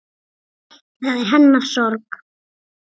Það er hennar sorg.